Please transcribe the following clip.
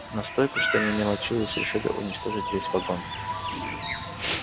настолько что не мелочились решили уничтожить весь вагон